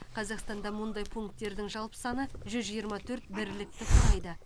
қазақстанда мұндай пункттердің жалпы саны жүз жиырма төрт бірлікті құрайды